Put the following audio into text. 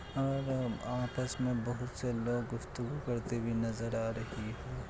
और अब आपस में बहुत सारे लोग गुफ्तगू करते हुए नजर आ रही हैं।